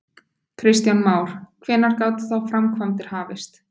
Kristján Már: Hvenær gætu þá framkvæmdir hafist?